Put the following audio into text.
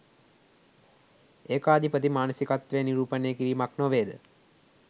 ඒකාධිපති මානසිකත්වය නිරූපණය කිරීමක් නොවේද?